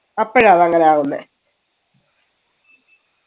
അപ്പഴാണ് അങ്ങനെ ആവുന്നേ